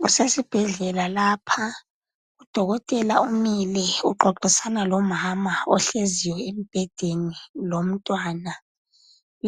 Kusesibhedlela lapha udokotela umile uxoxisana lomama ohleziyo embhedeni lomntwana